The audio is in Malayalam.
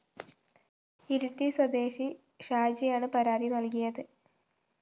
ഇരിട്ടി സ്വദേശി ഷാജിയാണ് പരാതി നല്‍കിയത്